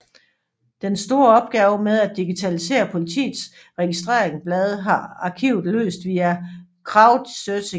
Den store opgave med at digitalisere Politiets registerblade har arkivet løst via crowdsourcing